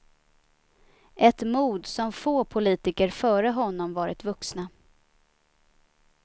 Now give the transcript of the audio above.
Ett mod som få politiker före honom varit vuxna.